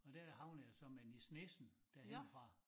Og der havnede jeg så med Nis Nissen derhenne fra